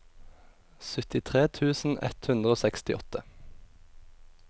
syttitre tusen ett hundre og sekstiåtte